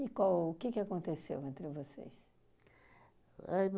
E qual o que que aconteceu entre vocês? Ah